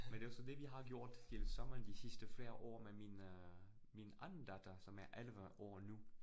Men det jo så det, vi har gjort hele sommeren de sidste flere år med min øh min anden datter, som er 11 år nu